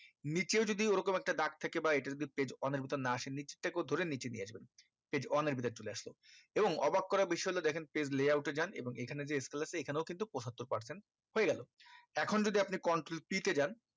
নিচেও যদি ওই রকম একটা দাগ এটা যদি page one এর ভেতর না আসে নিচ থেকে ধরে নিচে নিয়ে আসবেন page one এর ভেতরে চলে আসলো এবং অবাক করা বিষয় হলো দেখেন layout এ যান এখানে যে scale আছে এখানে পঁচাত্তর percent হয়ে গেল এখন যদি আপনি control p তে যান